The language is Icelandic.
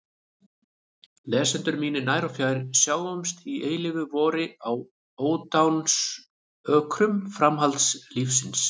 Lesendur mínir nær og fjær, sjáumst í eilífu vori á ódáinsökrum framhaldslífsins!